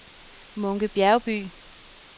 Munke Bjergby